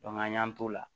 an y'an t'o la